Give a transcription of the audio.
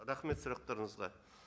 рахмет сұрақтарыңызға